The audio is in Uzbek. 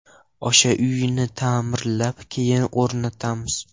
O‘sha uyni ta’mirlab, keyin o‘rnatamiz.